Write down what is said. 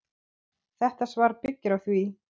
Þetta svar byggir á því.